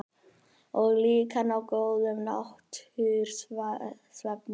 Og líka ná góðum nætursvefni.